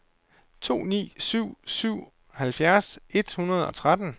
to ni syv syv halvfjerds et hundrede og tretten